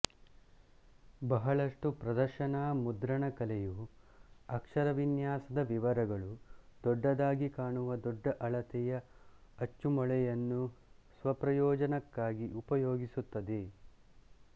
ಬಹಳಷ್ಟು ಪ್ರದರ್ಶನಾ ಮುದ್ರಣಕಲೆಯು ಅಕ್ಷರವಿನ್ಯಾಸದ ವಿವರಗಳು ದೊಡ್ಡದಾಗಿ ಕಾಣುವ ದೊಡ್ಡ ಅಳತೆಯ ಅಚ್ಚುಮೊಳೆಯನ್ನು ಸ್ವಪ್ರಯೋಜನಕ್ಕಾಗಿ ಉಪಯೋಗಿಸುತ್ತದೆ